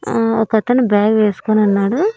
ఆ ఒకతను బ్యాగ్ వేసుకొనున్నాడు.